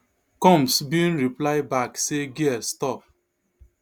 combs bin reply back say girl stop